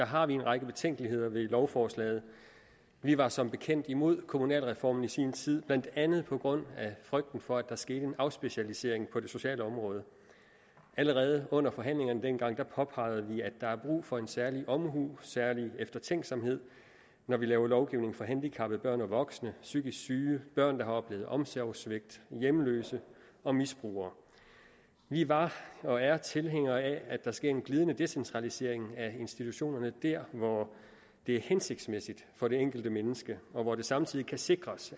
har vi en række betænkeligheder ved lovforslaget vi var som bekendt imod kommunalreformen i sin tid blandt andet på grund af frygten for at der skete en afspecialisering på det sociale område allerede under forhandlingerne dengang påpegede vi at der er brug for en særlig omhu en særlig eftertænksomhed når vi laver lovgivning for handicappede børn og voksne psykisk syge børn der har oplevet omsorgssvigt hjemløse og misbrugere vi var og er tilhængere af at der sker en glidende decentralisering af institutionerne der hvor det er hensigtsmæssigt for det enkelte menneske og hvor det samtidig kan sikres